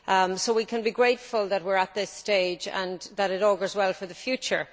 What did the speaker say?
So we can be grateful that we are at this stage and that it augurs well for the future.